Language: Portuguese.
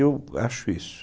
Eu acho isso.